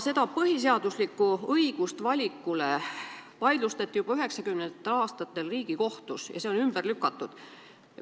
See põhiseaduslik valikuõigus vaidlustati juba 1990-ndatel aastatel Riigikohtus ja see on ümber lükatud.